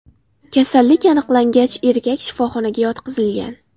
Kasallik aniqlangach, erkak shifoxonaga yotqizilgan.